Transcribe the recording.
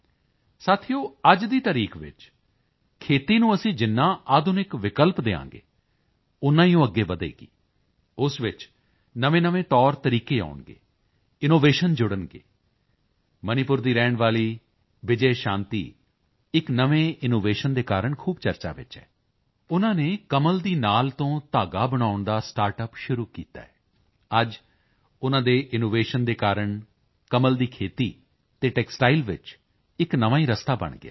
ਸਾਥੀਓ ਅੱਜ ਦੀ ਤਾਰੀਕ ਵਿੱਚ ਖੇਤੀ ਨੂੰ ਅਸੀਂ ਜਿੰਨਾ ਆਧੁਨਿਕ ਵਿਕਲਪ ਦੇਵਾਂਗੇ ਓਨਾ ਹੀ ਉਹ ਅੱਗੇ ਵਧੇਗੀ ਉਸ ਵਿੱਚ ਨਵੇਂਨਵੇਂ ਤੌਰਤਰੀਕੇ ਆਉਣਗੇ ਇਨੋਵੇਸ਼ਨ ਜੁੜਨਗੇ ਮਣੀਪੁਰ ਦੀ ਰਹਿਣ ਵਾਲੀ ਬਿਜੇ ਸ਼ਾਂਤੀ ਇੱਕ ਨਵੇਂ ਇਨੋਵੇਸ਼ਨ ਦੇ ਕਾਰਣ ਖੂਬ ਚਰਚਾ ਵਿੱਚ ਹੈ ਉਨ੍ਹਾਂ ਨੇ ਕਮਲ ਦੀ ਨਾਲ ਤੋਂ ਧਾਗਾ ਬਣਾਉਣ ਦਾ ਸਟਾਰਟ ਅੱਪ ਸ਼ੁਰੂ ਕੀਤਾ ਹੈ ਅੱਜ ਉਨ੍ਹਾਂ ਦੇ ਇਨੋਵੇਸ਼ਨ ਦੇ ਕਾਰਣ ਕਮਲ ਦੀ ਖੇਤੀ ਅਤੇ ਟੈਕਸਟਾਈਲ ਵਿੱਚ ਇੱਕ ਨਵਾਂ ਹੀ ਰਸਤਾ ਬਣ ਗਿਆ ਹੈ